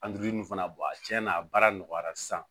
fana bɔn a cɛnna a baara nɔgɔyara sisan